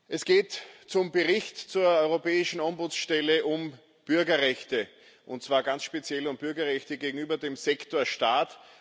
Es geht um den Bericht zur Europäischen Ombudsstelle um Bürgerrechte und zwar ganz speziell um Bürgerrechte gegenüber dem Sektor Staat.